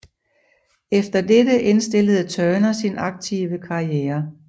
Efter dette indstillede Turner sin aktive karriere